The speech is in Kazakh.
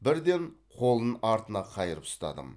бірден қолын артына қайырып ұстадым